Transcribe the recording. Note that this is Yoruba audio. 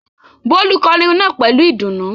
Bólú kọrin náà pẹ̀lú ìdùnnú.